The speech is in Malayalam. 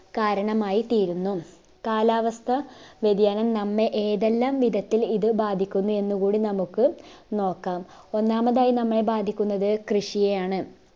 കാരണമായിത്തീരുന്നു കാലാവസ്ഥ വ്യതിയാനം നമ്മെ ഏതെല്ലാം വിധത്തിൽ ഇത് ബാധിക്കുന്നു എന്ന്കൂടി നമുക്ക്‌ നോക്കാം ഒന്നാമതായി നമ്മളെ ബാധിക്കുന്നത് കൃഷിയെയാണ്